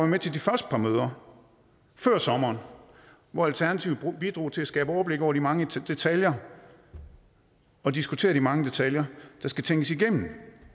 med til de første par møder før sommeren hvor alternativet bidrog til at skabe overblik over de mange detaljer og diskutere de mange detaljer der skal tænkes igennem